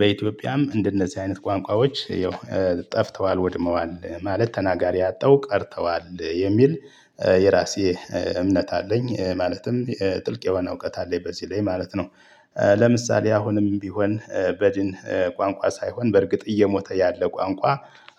በኢትዮጵያም እንደነዚህ አይነት ቋንቋዎች ይኸው ጠፍተዋል ወድመዋል ማለት ተናጋሪ አጠው ቀርተዋል የሚል የራሴ እምነት አለኝ ማለትም ጥልቅ የሆነ እውቀት አለኝ በዚህ ላይ ማለት ነው። ለምሳሌ አሁንም ቢሆን በድን ቋንቋ ሳይሆን በእርግጥ እየሞተ ያለ ቋንቋ